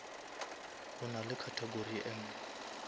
go na le category enngwe